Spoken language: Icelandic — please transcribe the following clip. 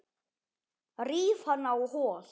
Ríf hana á hol.